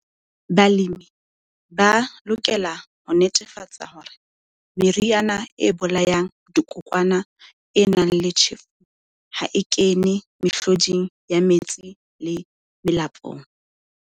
Balemi ba lokela ho netefatsa hore meriana e bolayang dikokwana e nang le tjhefu ha e kene mehloding ya metsi le melapong.